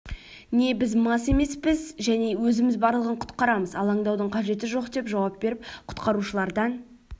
не біз мас емеспіз және өзіміз барлығын құтқарамыз алаңдаудың қажеті жоқ деп жауап беріп құтқарушылардан